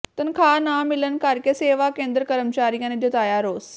ਤਨਖਾਹ ਨਾ ਮਿਲਣ ਕਰਕੇ ਸੇਵਾ ਕੇਂਦਰ ਕਰਮਚਾਰੀਆਂ ਨੇ ਜਤਾਇਆ ਰੋਸ